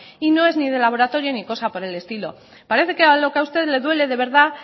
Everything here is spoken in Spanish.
y no es ni de laboratorio ni cosa por el estilo parece que a lo que usted le duele de verdad